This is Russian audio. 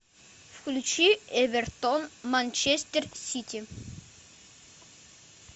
включи эвертон манчестер сити